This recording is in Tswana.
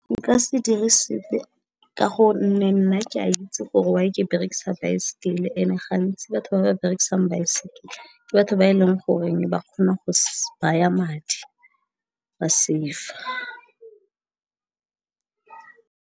Nka se dire sepe ka gonne nna ke a itse gore why ke berekisa baesekele, ene gantsi batho ba ba berekisang baesekele ke batho ba e leng goreng ba kgone go baya madi, ba save-a.